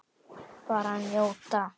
Bara njóta.